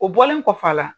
O bɔlen kɔfɛ a la